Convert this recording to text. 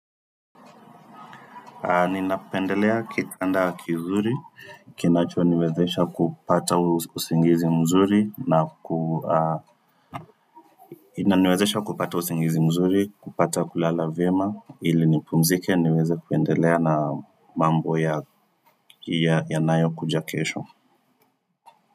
Ninapendelea kitanda kizuri, kinachoniwezesha kupata usingizi mzuri, kupata kulala vyema, ili nipumzike niweze kuendelea na mambo yanayo kuja kesho.